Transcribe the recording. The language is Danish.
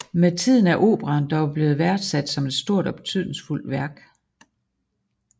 Med tiden er operaen dog blevet værdsat som et stort og betydningsfuldt værk